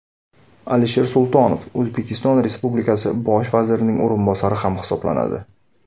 Alisher Sultonov O‘zbekiston Respublikasi bosh vazirining o‘rinbosari ham hisoblanadi.